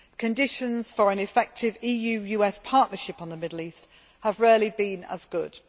Conditions for an effective EU US partnership on the Middle East have rarely been as good.